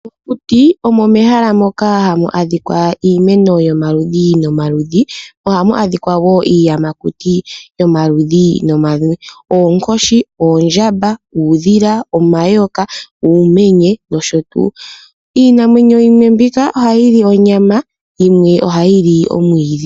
Okuti omo mehala moka hamu adhikwa iimeno yomaludhi nomaludhi mo ohamu adhika wo iinamwenyo yomaludhi nomaludhi. Ngaashi oonkoshi, oondjamba, uudhila, omayoka, uumenye nosho tuu. Iinamwenyo yimwe mbika ohayi li onyama yimwe ohayi li omwiidhi.